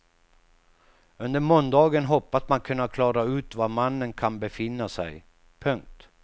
Under måndagen hoppas man kunna klara ut var mannen kan befinna sig. punkt